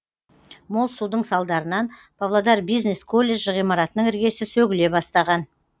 мол судың салдарынан павлодар бизнес колледжі ғимаратының іргесі сөгіле бастаған